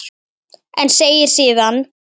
En segir síðan